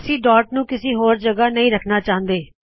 ਅਸੀ ਡਾੱਟ ਨੂ ਕਿਸੇ ਹੋਰ ਜਗਹ ਨਹੀ ਰਖਣਾ ਚਾਹੁੰਦੇ